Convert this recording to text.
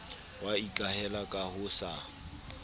wa ikahela ka ho sa